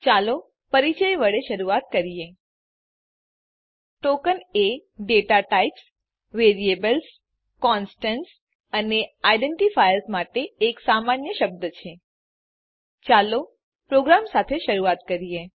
ચાલો પરીચય વડે શરૂઆત કરીએ ટોકન એ દાતા ટાઇપ્સ વેરિએબલ્સ કોન્સ્ટન્ટ્સ અને આઇડેન્ટિફાયર્સ માટે એક સામાન્ય શબ્દ છે ચાલો પ્રોગ્રામ સાથે શરૂઆત કરીએ